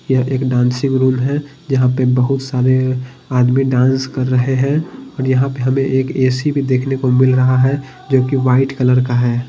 यह एक dancing room है यहां पे बहुत सारे आदमी डांस कर रहे हैं और यहां पे हमें एक ए_सी भी देखने को मिल रहा है जो कि वाइट कलर का है।